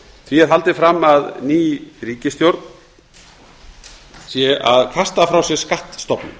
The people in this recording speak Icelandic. því er haldið fram að ný ríkisstjórn sé að kasta frá sér skattstofnum